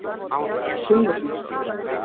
Sunnuhlíð